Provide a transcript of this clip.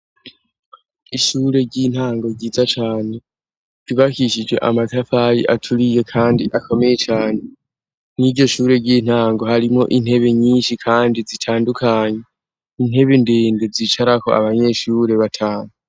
Ishure ry'intango ryiza cane kibakishije amatafayi aturiye, kandi akomeye cane n'iryo shure ry'intango harimo intebe nyinshi, kandi zitandukanye intebe ndende zicarako abanyeshure batamu.